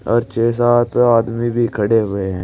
और छे सात आदमी भी खड़े हुए हैं।